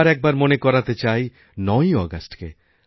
আবার একবার মনে করাতে চাই ৯ই আগস্টকে